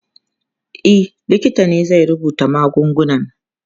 E, likita ne zai rubuta magungunan.